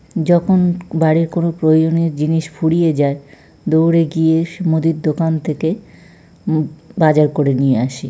যখন বাড়ির কোন প্রয়োজনীয় জিনিস ফুরিয়ে যায় দৌড়ে গিয়ে সে মুদির দোকান থেকে উম বাজার করে নিয়ে আসি ।